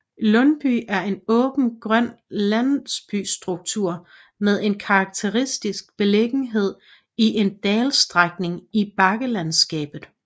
Lundby er en åben grøn landsbystruktur med en karakteristisk beliggenhed i en dalsænkning i bakkelandskabet